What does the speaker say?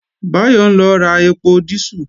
Báyọ̀ ń lọ ra ẹpo dísù